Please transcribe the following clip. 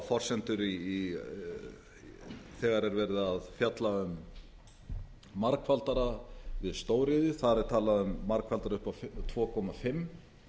forsendur þegar er verið að fjalla um margfaldara við stóriðju þar er talað um margfaldara upp á tvö komma fimm